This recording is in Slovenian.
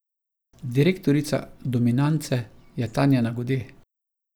Direktorica Dominance je Tanja Nagode.